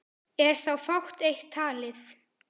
Er þá fátt eitt talið.